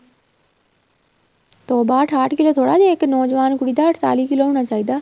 ਤੋਬਾ ਠਾਹਟ ਕਿੱਲੋ ਥੋੜਾ ਦੇਖ ਇੱਕ ਨੋਜਵਾਨ ਕੁੜੀ ਦਾ ਅੱੜਤਾਲੀ ਕਿੱਲੋ ਹੋਣਾ ਚਾਹੀਦਾ